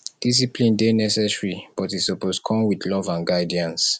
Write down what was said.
discipline dey necessary but e suppose come with love and guidance